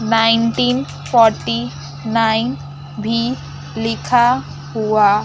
nineteen forty nine भी लिखा हुआ --